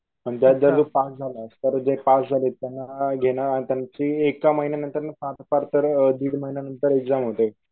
नंतर जर जे पास झाले तर जे पास झाले त्यांना घेणं त्यांची एका महिन्यानंतर फार फार तर दीड महिन्यानंतर एक्साम होते.